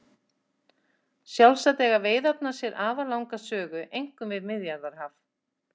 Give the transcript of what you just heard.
Sjálfsagt eiga veiðarnar sér afar langa sögu einkum við Miðjarðarhaf.